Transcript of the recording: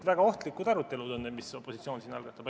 Väga ohtlikud arutelud on need, mida opositsioon siin algatab.